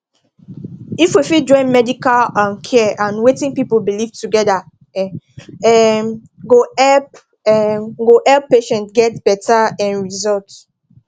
if we fit join medical um care and wetin people believe together e um go help um go help patients get better um result